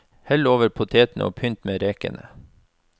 Hell over potetene og pynt med rekene.